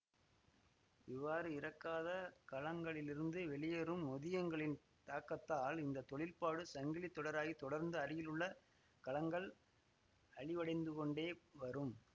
இவ்வாறு இறக்காத கலங்களிலிருந்து வெளியேறும் நொதியங்களின் தாக்கத்தால் இந்த தொழிற்பாடு சங்கிலி தொடராகி தொடர்ந்து அருகிலுள்ள கலங்கள் அழிவடைந்துகொண்டே வரும்